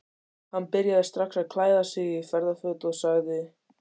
Hann byrjaði strax að klæða sig í ferðaföt og sagði